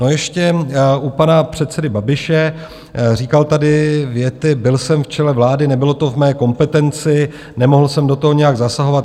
No ještě u pana předsedy Babiše - říkal tady věty: byl jsem v čele vlády, nebylo to v mé kompetenci, nemohl jsem do toho nijak zasahovat.